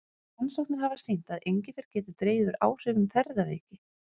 Rannsóknir hafa sýnt að engifer getur dregið úr áhrifum ferðaveiki.